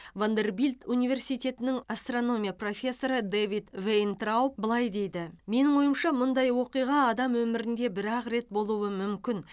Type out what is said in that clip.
вандербильт университетінің астрономия профессоры дэвид вейнтрауб былай дейді менің ойымша мұндай оқиға адам өмірінде бір ақ рет болуы мүмкін